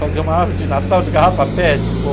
Fazer uma árvore de Natal de garrafa pet, pô?